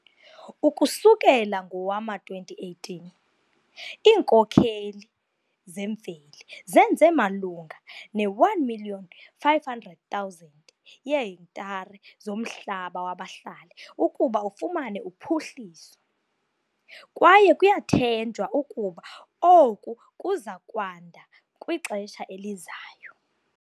Ukusukela ngowama-2018, iinkokheli zemveli zenze malunga ne-1 500 000 yeehektare zomhlaba wabahlali ukuba ufumane uphuhliso, kwaye kuyathenjwa ukuba oku kuza kwanda kwixesha elizayo.